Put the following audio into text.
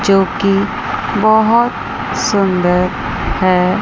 जो की बहोत सुंदर है।